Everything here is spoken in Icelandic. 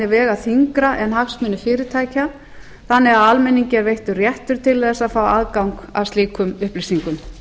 vega þyngra en hagsmunir fyrirtækja þannig að almenningi er veittur réttur til að fá aðgang að slíkum upplýsingum